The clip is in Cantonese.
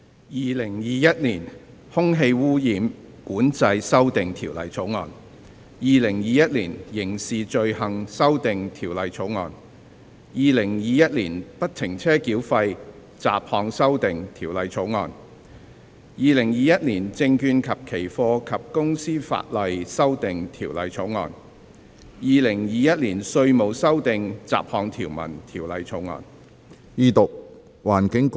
《2021年空氣污染管制條例草案》《2021年刑事罪行條例草案》《2021年不停車繳費條例草案》《2021年證券及期貨及公司法例條例草案》《2021年稅務條例草案》。